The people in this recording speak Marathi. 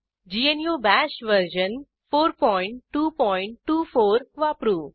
ग्नू बाश वर्जन 4224 वापरू